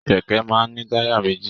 Kẹkẹ máa n ni taya méjì.